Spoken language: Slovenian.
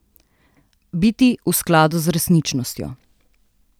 Biti v skladu z resničnostjo.